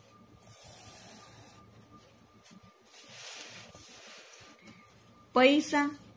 પૈસા